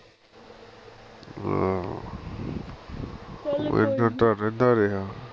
ਹਾਂ ਚੱਲ ਕੋਈ ਨਹੀਂ ਉਹ ਇੱਧਰ ਤਾਂ ਰਹਿੰਦਾ ਰਿਹਾ